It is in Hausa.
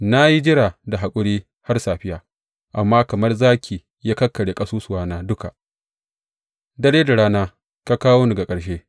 Na yi jira da haƙuri har safiya, amma kamar zaki ya kakkarya ƙasusuwana duka; dare da rana ka kawo ni ga ƙarshe.